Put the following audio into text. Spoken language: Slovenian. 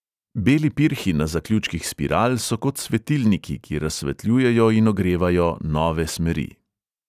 Beli pirhi na zaključkih spiral so kot svetilniki, ki razsvetljujejo in ogrevajo nove smeri.